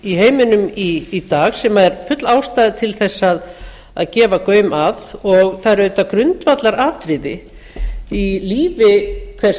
í heiminum í dag sem er full ástæða til að gefa gaum að og það er auðvitað grundvallaratriði í lífi hvers